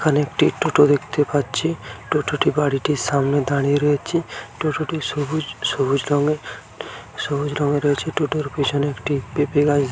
এখানে একটি টোটো দেখতে পাচ্ছি টোটো টি বাড়িটির সামনে দাঁড়িয়ে রয়েছে টোটো টি সবুজ সবুজ রঙের সবুজ রঙে রয়েছে টোটো এর পেছনে একটি পেঁপে গাছ--